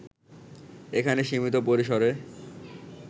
এখানে সীমিত পরিসরে